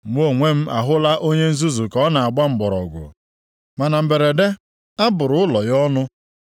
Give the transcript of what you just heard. Mụ onwe m ahụla onye nzuzu ka ọ na-agba mgbọrọgwụ, mana mberede, abụrụ ụlọ ya ọnụ.